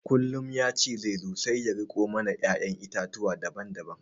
Kullum ya ce zai zo sai ya riko mana ƴaƴan itatuwa daban daban